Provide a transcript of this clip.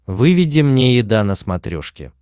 выведи мне еда на смотрешке